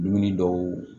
Dumuni dɔw